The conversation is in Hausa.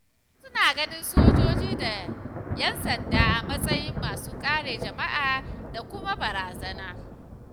Wasu suna ganin sojoji da ‘yan sanda a matsayin masu kare jama’a da kuma barazana.